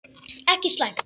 Ekki slæmt.